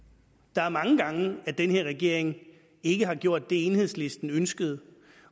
der er mange gange hvor den her regering ikke har gjort det enhedslisten ønskede